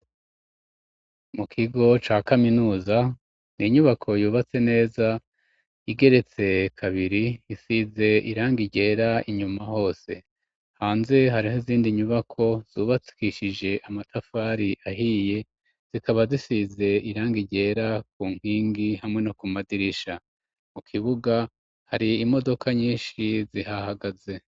Mu kigo ca kaminuza ni inyubako yubatse neza igeretse kabiri isize irangi ryera inyuma hose hanze hariho izindi nyubako zubakishije amatafari ahiye zikaba zisize iranga ryera ku nkingi hamwe no ku madirisha mu kibuga hari imodoka nyinshi zihahagaze.